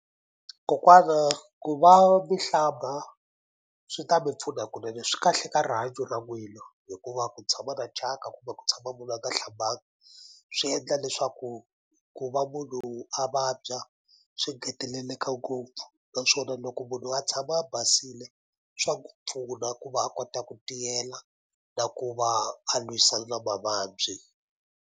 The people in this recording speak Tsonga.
Kokwana ku va mi hlamba swi ta mi pfuna kunene swi kahle ka rihanyo ra n'wina hikuva ku tshama na thyaka kumbe ku tshama munhu a nga hlambanga swi endla leswaku ku va munhu a vabya swi ngeteleleka ngopfu naswona loko munhu a tshama a basile swa n'wu pfuna ku va a kota ku tiyela na ku va a lwisana na mavabyi.